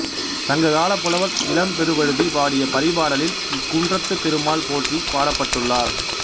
சங்க காலப் புலவர் இளம்பெருவழுதி பாடிய பரிபாடலில் இக்குன்றத்துத் திருமால் போற்றிப் பாடப்பட்டுள்ளார்